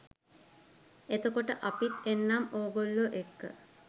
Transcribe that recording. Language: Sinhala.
එතකොට අපිත් එන්නම් ඕගොල්ලෝ එක්ක